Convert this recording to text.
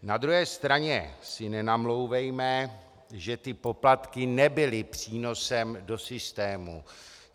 Na druhé straně si nenamlouvejme, že ty poplatky nebyly přínosem do systému.